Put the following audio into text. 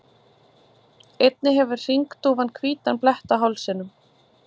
einnig hefur hringdúfan hvítan blett á hálsinum